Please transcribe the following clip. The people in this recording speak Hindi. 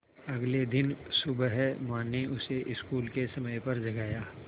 अगले दिन सुबह माँ ने उसे स्कूल के समय पर जगाया